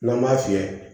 N'an b'a fiyɛ